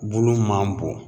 Bulu man bon